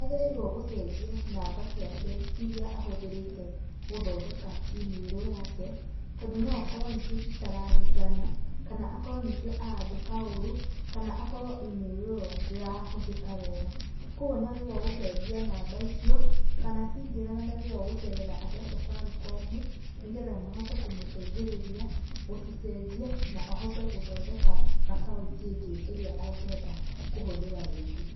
Nĩagĩrĩirũo gũcenjia namba ciake, iria ahũthĩrĩte gũthondeka imĩrũ yake, tondũ no okorwo nĩcio citararingana, kana akorwo nĩcio arandĩka ũru, kana akorwo imĩrũ ĩyo ndĩrahũthĩka wega, kuoguo nĩagĩrĩirwo gũcenjia namba icio, kana cingĩrega nĩagĩrĩirũo gũcerera andũ a Safaricom, nĩgetha mahote kũmũteithĩrĩria, gũcicenjia, na ahote gũthondeka akaunti ĩngĩ ĩrĩa angĩhota kũhũthĩra rĩngĩ.